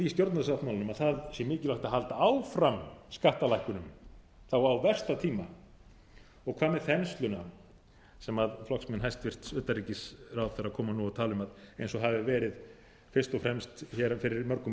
stjórnarsáttmálanum að það sé mikilvægt að halda áfram skattalækkunum þá á versta tíma og hvað með þensluna sem flokksmenn hæstvirts utanríkisráðherra koma nú og tala um eins og það hafi verið fyrst og fremst hér fyrir mörgum árum